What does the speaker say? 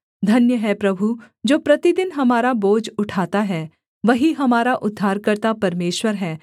धन्य है प्रभु जो प्रतिदिन हमारा बोझ उठाता है वही हमारा उद्धारकर्ता परमेश्वर है सेला